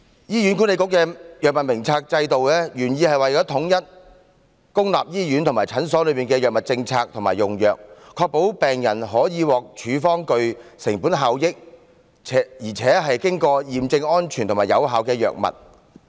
醫院管理局的藥物名冊制度原意為統一公立醫院和診所的藥物政策和用藥，確保病人可獲處方具成本效益，且經過驗證安全和有效的藥物。